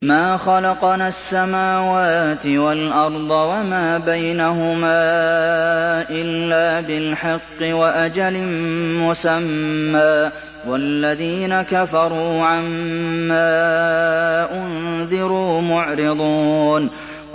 مَا خَلَقْنَا السَّمَاوَاتِ وَالْأَرْضَ وَمَا بَيْنَهُمَا إِلَّا بِالْحَقِّ وَأَجَلٍ مُّسَمًّى ۚ وَالَّذِينَ كَفَرُوا عَمَّا أُنذِرُوا مُعْرِضُونَ